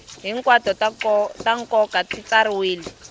hinkwato ta nkoka ti tsariwile